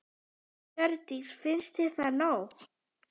Hjördís: Finnst þér það nóg?